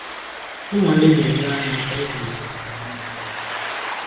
Nnwale na-enyere anyị aka ịzụlitekwa àgwà ọzọ dị mkpa